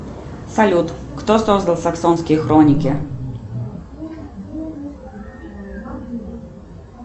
салют кто создал саксонские хроники